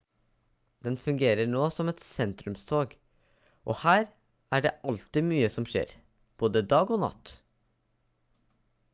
den fungerer nå som et sentrumstorg og her er det alltid mye som skjer både dag og natt